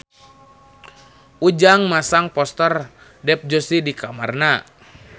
Ujang masang poster Dev Joshi di kamarna